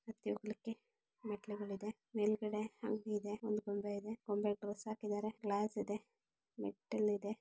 ಹತ್ತಿ ಹೋಗ್ಲಿಕ್ಕೆ ಮೆಟ್ಟಿಲುಗಳಿಗದೆ ಮೇಲ್ಗಡೆ ಅಂಗಡಿ ಇದೆ. ಒಂದು ಗೊಂಬೆ ಇದೆ ಗೊಂಬೆಗೆ ಡ್ರೆಸ್ ಹಾಕಿದ್ದಾರೆ. ಗ್ಲಾಸ್ ಇದೆ ಮೆಟ್ಟಿಲಿದೆ.